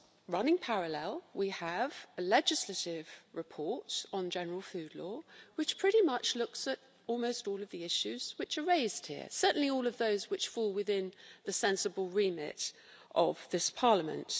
Running parallel, we have a legislative report on general food law which pretty much looks at almost all of the issues which are raised here certainly all of those which fall within the sensible remit of this Parliament.